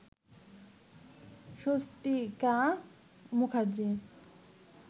Swastika Mukherjee